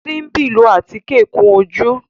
Simbi ló atike kún ojú